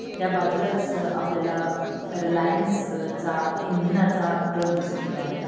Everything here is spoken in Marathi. त्या बाजूलाच आपल्याला रिलायन्स चा इंधनाचा ट्रक दिसून येत आहे.